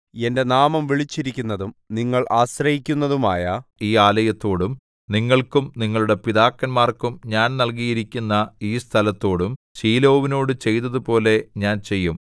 എന്റെ നാമം വിളിച്ചിരിക്കുന്നതും നിങ്ങൾ ആശ്രയിക്കുന്നതുമായ ഈ ആലയത്തോടും നിങ്ങൾക്കും നിങ്ങളുടെ പിതാക്കന്മാർക്കും ഞാൻ നൽകിയിരിക്കുന്ന ഈ സ്ഥലത്തോടും ശീലോവിനോടു ചെയ്തതുപോലെ ഞാൻ ചെയ്യും